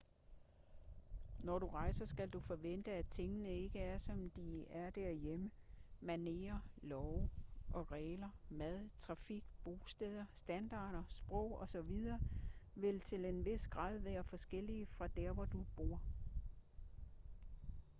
når du rejser skal du forvente at tingene ikke er som de er derhjemme manerer love og regler mad trafik bosteder standarder sprog og så videre vil til en vis grad være forskellige fra der hvor du bor